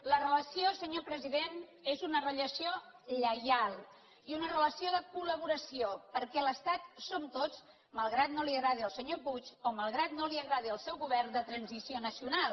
la relació senyor president és una relació lleial i una relació de col·laboració perquè l’estat som tots malgrat que no li agradi al senyor puig o malgrat que no li agradi al seu govern de transició nacional